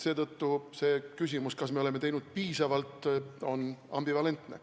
Seetõttu küsimus, kas oleme teinud piisavalt, on ambivalentne.